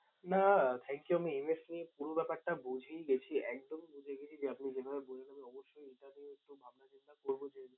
না thank you আমি MF নিয়ে পুরো ব্যাপারটা বুঝেই গেছি, একদম বুঝে গেছি যে আপনি যেভাবে বললেন। আমি অবশ্যই এটা নিয়ে একটু ভাবনা চিন্তা করবো যে